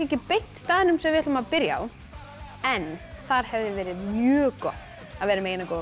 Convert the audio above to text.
ekki beint staðnum sem við ætlum að byrja á en þar hefði verið mjög gott að vera með eina góða